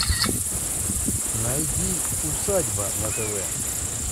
найди усадьба на тв